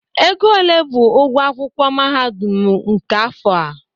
Ego ole bụ ụgwọ akwụkwọ mahadum ahụ nke afọ a?